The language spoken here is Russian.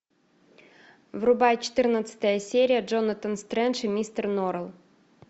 врубай четырнадцатая серия джонатан стрендж и мистер норрелл